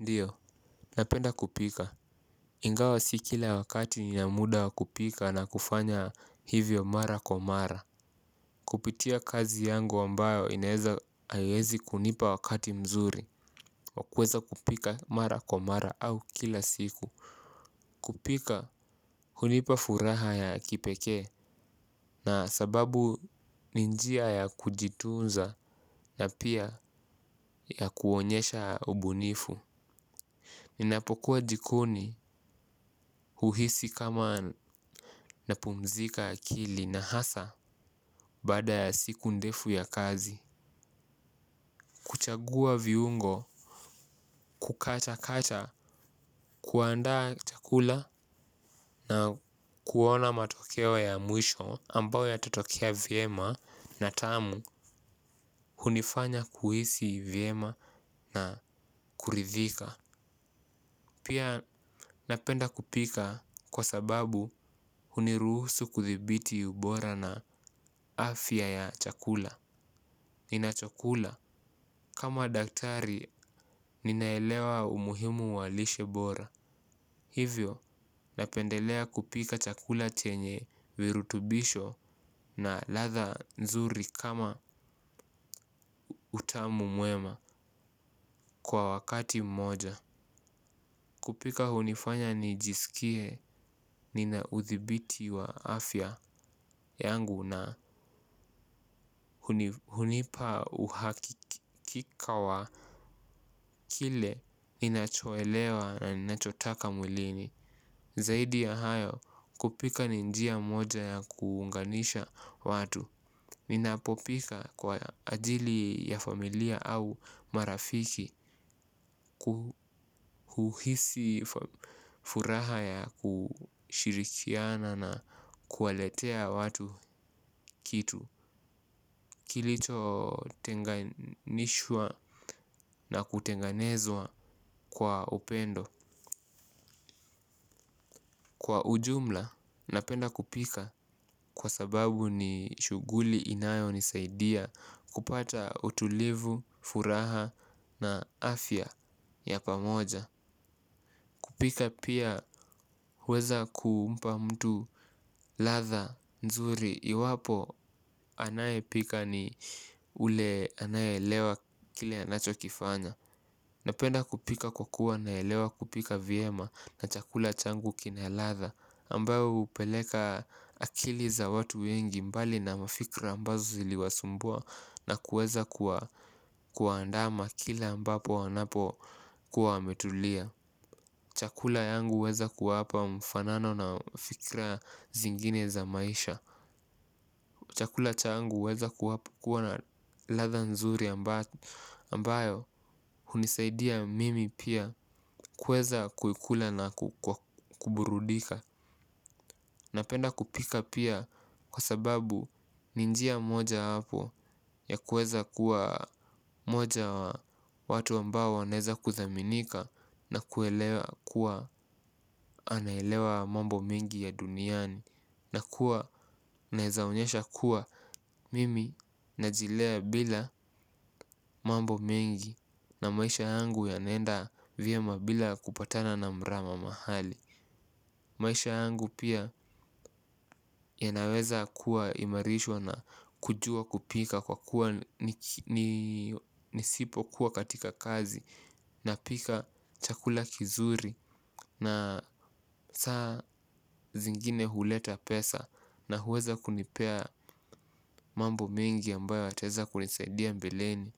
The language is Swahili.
Ndiyo, napenda kupika. Ingawa si kila wakati nina muda wa kupika na kufanya hivyo mara kwa mara. Kupitia kazi yangu ambayo inaeza haiwezi kunipa wakati mzuri wa kuweza kupika mara kwa mara au kila siku. Kupika hunipa furaha ya kipekee, na sababu ni njia ya kujitunza na pia ya kuonyesha ubunifu. Ninapokuwa jikoni huhisi kama napumzika akili na hasa baada ya siku ndefu ya kazi. Kuchagua viungo, kukatakata, kuandaa chakula na kuona matokeo ya mwisho ambayo yatatokea vyema na tamu. Hunifanya kuhisi vyema na kuridhika. Pia napenda kupika kwa sababu huniruhusu kuthibiti ubora na afya ya chakula. Ninachokula kama daktari ninaelewa umuhimu wa lishe bora. Hivyo napendelea kupika chakula chenye virutubisho na ladha nzuri kama utamu mwema kwa wakati mmoja. Kupika hunifanya nijisikie nina udhibiti wa afya yangu na hunipa uhakika wa kile ninachoelewa na ninachotaka mwilini. Zaidi ya hayo kupika ni njia moja ya kuunganisha watu. Ninapopika kwa ajili ya familia au marafiki huhisi furaha ya kushirikiana na kuwaletea watu kitu kilichotenganishwa na kutengenezwa kwa upendo. Kwa ujumla, napenda kupika kwa sababu ni shughuli inayonisaidia kupata utulivu, furaha na afya ya pamoja. Kupika pia huweza kumpa mtu ladha nzuri. Iwapo anayepika ni ule anayeelewa kile anachokifanya. Napenda kupika kwa kuwa naelewa kupika vyema na chakula changu kina ladha ambayo hupeleka akili za watu wengi mbali na mafikra ambazo ziliwasumbua. Na kuweza kuwaandama kila ambapo wanapokuwa wametulia chakula yangu huweza kuwapa mfanano na fikira zingine za maisha. Chakula changu huweza kuwapa kuwa na ladha nzuri ambayo hunisaidia mimi pia kueza kuikula na kuburudika. Napenda kupika pia kwa sababu ni njia moja yako ya kuweza kuwa mmoja ya watu ambao wanaweza kuthaminika. Na kuelewa kuwa anaelewa mambo mengi ya duniani. Na kuwa naeza onyesha kuwa mimi najilea bila mambo mengi. Na maisha yangu yanaenda vyema bila kupatana na mrama mahali. Maisha yangu pia yanaweza kuwa imarishwa na kujua kupika kwa kuwa nisipokuwa katika kazi napika chakula kizuri na saa zingine huleta pesa na huweza kunipea mambo mengi ambayo yataeza kunisaidia mbeleni.